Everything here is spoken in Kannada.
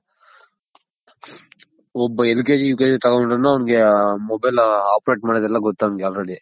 ಒಬ್ಬ LKG U K G ತಗೊಂಡ್ರುನು ಅವನ್ಗೆ mobile operate ಮಾಡೋದೆಲ್ಲ ಗೊತ್ತು ಅವನ್ಗೆ already.